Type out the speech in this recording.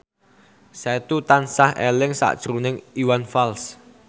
Setu tansah eling sakjroning Iwan Fals